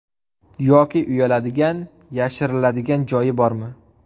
Yoki uyaladigan, yashiriladigan joyi bormi?